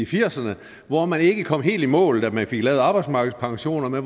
firserne hvor man ikke kom helt i mål da man fik lavet arbejdsmarkedspensionerne